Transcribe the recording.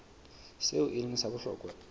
seo e leng sa bohlokwa